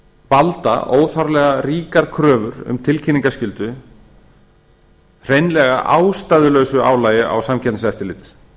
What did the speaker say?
valda þar lega ríkar kröfur um tilkynningarskyldu hreinlega ástæðulausu álagi á samkeppniseftirlitið